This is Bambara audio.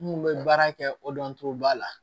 N kun bɛ baara kɛ o dɔncogoba la